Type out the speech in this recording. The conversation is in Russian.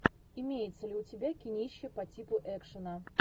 имеется ли у тебя кинище по типу экшена